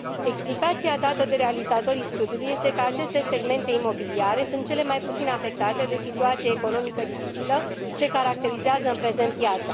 Explicația dată de realizatorii studiului este că aceste segmente imobiliare sunt cel mai puțin afectate de situația economică dificilă ce caracterizează în prezent piața.